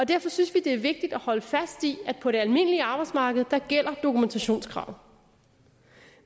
derfor synes vi det er vigtigt at holde fast i at på det almindelige arbejdsmarked gælder dokumentationskravene